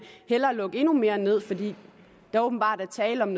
hellere lukke endnu mere ned fordi der åbenbart er tale om